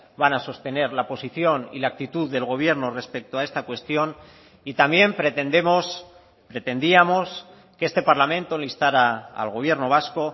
van a sostener la posición y la actitud del gobierno respecto a esta cuestión y también pretendemos pretendíamos que este parlamento le instara al gobierno vasco